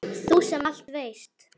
Þú sem allt veist.